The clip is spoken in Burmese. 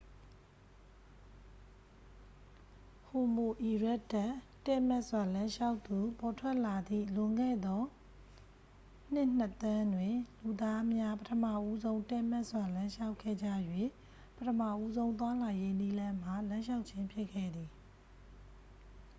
ဟိုမိုအီရက်တပ် တည့်မတ်စွာ လမ်းလျှောက်သူ ပေါ်ထွက်လာသည့် လွန်ခဲ့သော နှစ် နှစ် သန်းတွင် လူသားများ ပထမဦးဆုံး တည့်မတ်စွာ လမ်းလျှောက်ခဲ့ကြ၍ ပထမဦးဆုံး သွားလာရေးနည်းလမ်းမှာ လမ်းလျှောက်ခြင်း ဖြစ်ခဲ့သည်။